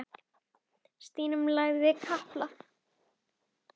Tímanum og Stína lagði kapal.